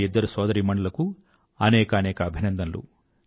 ఆ ఇద్దరు సోదరీమణులకూ అనేకానేక అభినందనలు